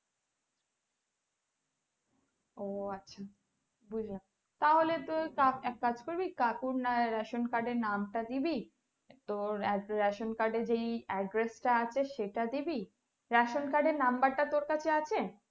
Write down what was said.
ও আচ্ছা বুঝেছি, তাহলে তোর এক কাজ করবি কাকুর না ration card এর নামটা দিবি তোর এত ration card এ যে address আছে সেটা দিবি ration card এর number টা তোর কাছে আছে?